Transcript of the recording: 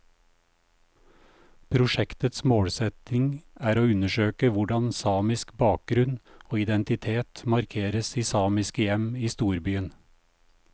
Prosjektets målsetning er å undersøke hvordan samisk bakgrunn og identitet markeres i samiske hjem i storbyen.